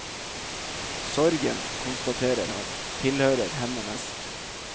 Sorgen, konstaterer han, tilhører henne mest.